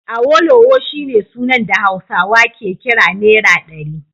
Awolowo shine sunan da Hausawa ke kira Naira ɗari